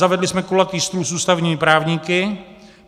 Zavedli jsme kulatý stůl s ústavními právníky.